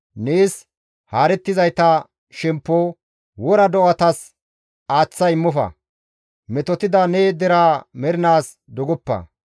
Nees haarettizayta shemppo wora do7atas aaththa immofa; metotida ne deraa mernaas dogoppa.